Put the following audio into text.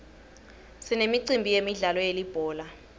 sinemicimbi yemidlalo yelibhola